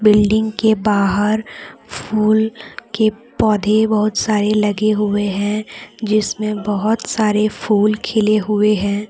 Building के बाहर फूल के पौधे बहुत सारे लगे हुए हैं जिसमें बहुत सारे फूल खिले हुए हैं।